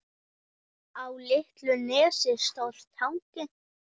Á litlu nesi stóð Tangi.